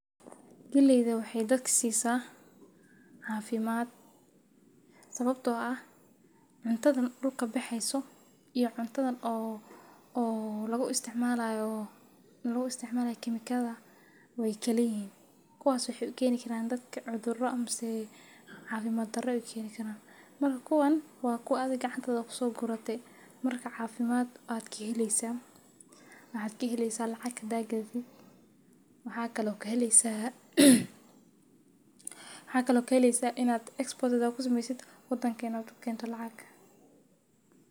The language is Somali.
Gelleydha waxay dadka siisasa caafimaad sababtoo ah cuntadan dulka bixiso iyo cuntadan oo oo lagu isticmaalayo lagu isticmaalaya kimiikada way kala yeeyi hin. Kuwaas oo aya uu keni gelaan dadka cudurro amisi caafimaad daro u keeni karaa marka kuwan waa ku adag cantada kusoo gurato marka caafimaad aad ka helaysa, waxaad ka helaysa lacag daag dhiigi waxaa kaloo ka helisaa waxa ka loo keliisaa inaad export ku sameysid wadankan kee keento lacag.